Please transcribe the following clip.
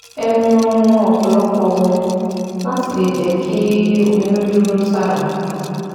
Ẹ mu ọ̀pọ̀lọpọ̀ omi láti lè jẹ́ kí omi ó dúró sára